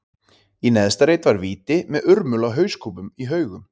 Í neðsta reit var víti, með urmul af hauskúpum í haugum.